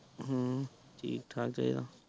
ਹਮ ਠੀਕ ਠਾਕ ਚੈਹਦਾ